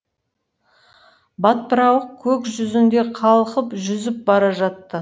батпырауық көк жүзінде қалқып жүзіп бара жатты